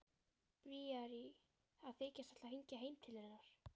Bríarí að þykjast ætla að hringja heim til hennar.